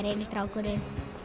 eini strákurinn